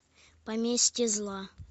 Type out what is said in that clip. поместье зла